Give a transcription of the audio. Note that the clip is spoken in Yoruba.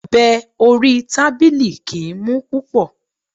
Ọ̀bẹ orí tábìlì kìí mú púpọ̀.